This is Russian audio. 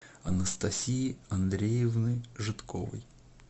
анастасии андреевны жидковой